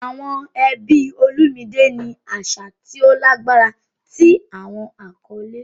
Awọn ẹbi Olumide ni aṣa ti o lagbara ti awọn akọle.